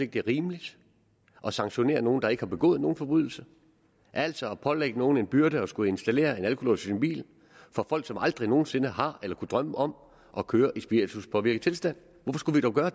det er rimeligt at sanktionere nogen der ikke har begået en forbrydelse altså at pålægge nogle en byrde med at skulle installere en alkolås i en bil for folk som aldrig nogen sinde har eller kunne drømme om at køre i spirituspåvirket tilstand hvorfor skulle vi dog gøre